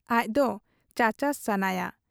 ᱟᱡᱫᱚ ᱪᱟᱪᱟᱥ ᱥᱟᱱᱟᱭᱟ ᱾